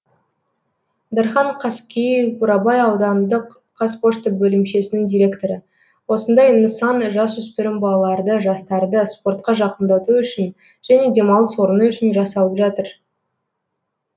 дархан қаскеев бурабай аудандық қазпошта бөлімшесінің директоры осындай нысан жасөспірім балаларды жастарды спортқа жақындату үшін және демалыс орны үшін жасалып жатыр